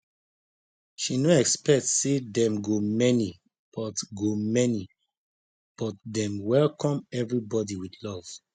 she no expect say dem go many but go many but dem welcome everybody with love